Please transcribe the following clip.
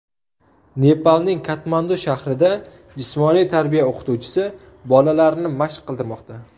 Nepalning Katmandu shahrida jismoniy tarbiya o‘qituvchisi bolalarni mashq qildirmoqda.